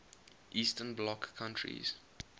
eastern bloc countries